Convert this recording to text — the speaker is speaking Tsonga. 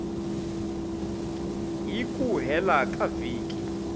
hi ku hela ka vhiki